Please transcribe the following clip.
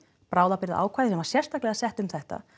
bráðabirgðar ákvæði sem var sérstaklega sett um þetta